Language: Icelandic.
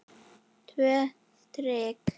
Tvö strik.